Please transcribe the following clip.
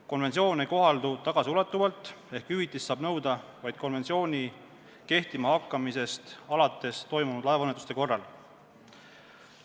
Konventsioon ei kohaldu tagasiulatuvalt ehk hüvitist saab nõuda vaid pärast konventsiooni kehtima hakkamist toimunud laevaõnnetuste korral.